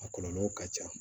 A kɔlɔlɔw ka ca